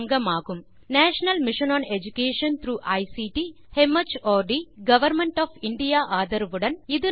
இது இந்திய அரசின் national mission on education through ICT மார்ட் ஆல் ஆதரிக்கப்படுகிறது